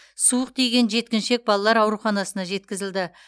суық тиген жеткіншек балалар ауруханасына жеткізілді